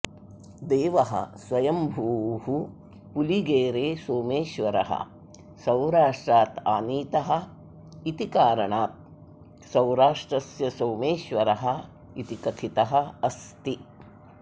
देवः स्वयम्भूः पुलिगेरे सोमेश्वरः सौराष्ट्रादानीतः इति कारणात् सौराष्ट्रस्य सोमेश्वरः इति कथितः अस्ति